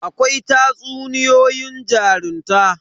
Akwai tatsuniyoyin jarunta.